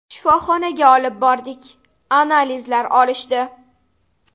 Shifoxonaga olib bordik, analizlar olishdi.